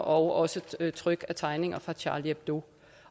og også tryk af tegninger fra charlie hebdo